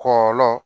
Kɔlɔlɔ